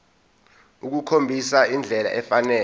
ukukhombisa indlela efanele